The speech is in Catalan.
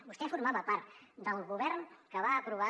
vostè formava part del govern que va aprovar